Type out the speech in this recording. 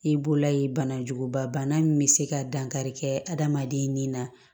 I bolola ye banajuguba bana min bɛ se ka dankari kɛ adamaden ni na